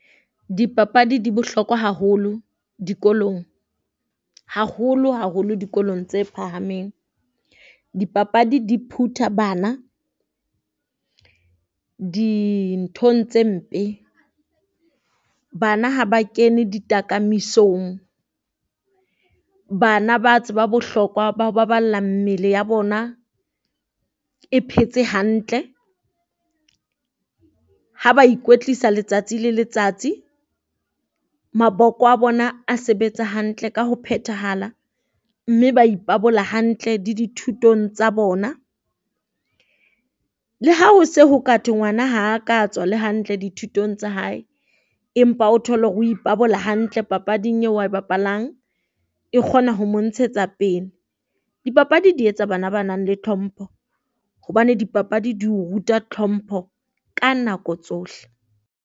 Dipapadi di bohlokwa haholo dikolong, haholo haholo dikolong tse phahameng. Dipapadi di phutha bana dinthong tse mpe. Bana ha ba kene ditakamisong, bana ba tseba bohlokwa ba ho baballa mmele ya bona e phetse hantle. Ha ba ikwetlisa letsatsi le letsatsi maboko a bona a sebetsa hantle ka ho phethahala mme ba ipabola hantle le dithutong tsa bona. Le ha ho se ho ka thwe ngwana ha a ka tswa le hantle dithutong tsa hae. Empa o thole hore o ipabola hantle papading eo ae bapalang, e kgona ho mo ntshetsa pele. Dipapadi di etsa bana ba nang le tlhompho hobane dipapadi di o ruta tlhompho ka nako tsohle.